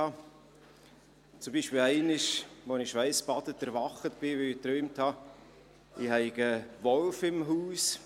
Einmal wachte ich zum Beispiel schweissgebadet auf, weil ich träumte, ich hätte einen Wolf im Haus.